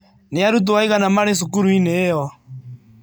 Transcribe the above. Nĩ arutwo aigana marĩ cukuru-inĩ ĩyo?